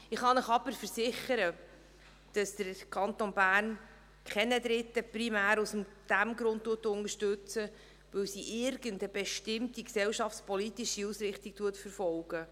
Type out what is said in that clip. Ich kann Ihnen jedoch versichern, dass der Kanton Bern keine Dritten primär aus dem Grund unterstützt, dass er irgendeine bestimmte gesellschaftspolitische Ausrichtung verfolgt.